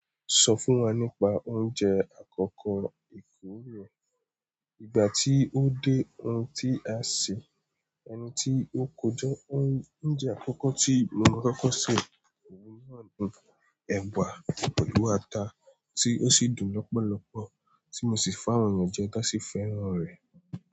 Sọ fún wa nípa oúnjẹ àkọ́kọ́ èkuro Ìgbà tí ó dé ohun tí a sè, ẹni tí ó kójọ oúnjẹ àkọ́kọ́ tí mo rí kókó sè, òun náà nu ẹ̀bà pẹ̀lú ata tí ó sì dùn lọ́pọ̀lọpọ̀, tí mo sì fáwọn ènìyàn jẹ dá sí fẹ́ràn rẹ̀.